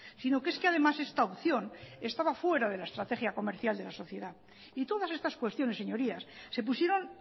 sino que es que además esta opción estaba fuera de la estrategia comercial de la sociedad y todas estas cuestiones señorías se pusieron